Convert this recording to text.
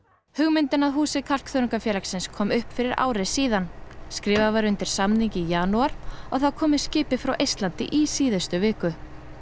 hugmyndin að húsi kom upp fyrir ári síðan skrifað var undir samning í janúar og það kom með skipi frá Eistlandi í síðustu viku